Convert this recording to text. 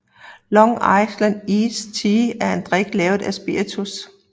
Long Island Iced Tea er en drik lavet af spiritus